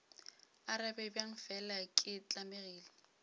arabe bjang fela ke tlamegile